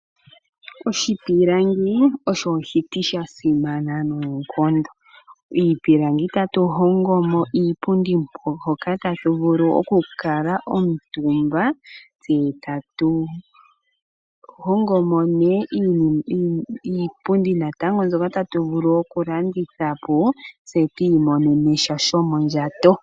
Oshipilangi osho oshiti sha simana noonkondo ,miipilangi tatu hongo mo iipundi hoka tatu vulu okukala omtumba, tse tatu hongo mo wo iipundi mbyoka tatu vulu okulanditha po tse tu monene mosha shomondjato.